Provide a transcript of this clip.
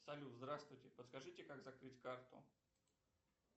салют здравствуйте подскажите как закрыть карту